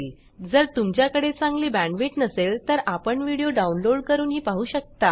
जर तुमच्याकडे चांगली बॅण्डविड्थ नसेल तर आपण व्हिडिओ डाउनलोड करूनही पाहू शकता